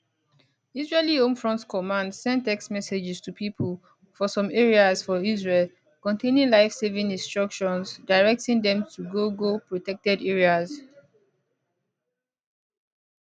israeli home front command send text messages to pipo for some areas for israel containing lifesaving instructions directing dem to go go protected areas